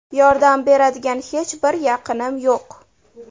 Yordam beradigan hech bir yaqinim yo‘q.